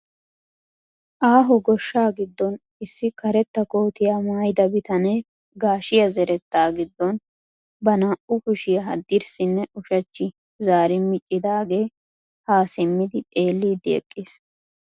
Aaho goshshaa giddon issi karetta kootiyaa maayida bitanee gashshiyaa zerettaa giddon ba naa"u kushiyaa haddirssinne ushshachchi zaari miicidagee haa simmi xeellidi eqqiis.